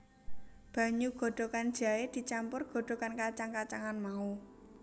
Banyu godhogan jahé dicampur godhogan kacang kacangan mau